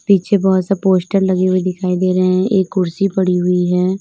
पीछे बहोत सा पोस्टर लगे हुए दिखाई दे रहे हैं एक कुर्सी पड़ी हुई है।